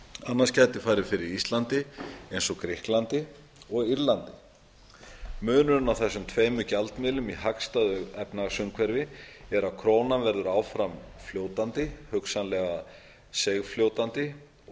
annars gæti farið fyrir íslandi eins og grikklandi og írlandi munurinn á þessum tveimur gjaldmiðlum í hagstæðu efnahagsumhverfi er að krónan verður áfram fljótandi hugsanlega seigfljótandi og